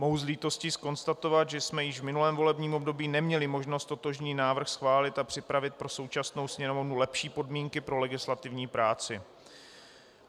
Mohu s lítostí konstatovat, že jsme již v minulém volebním období neměli možnost totožný návrh schválit a připravit pro současnou Sněmovnu lepší podmínky pro legislativní práci.